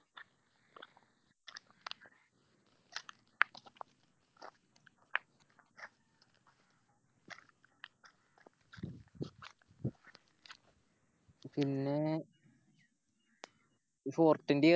പിന്നെ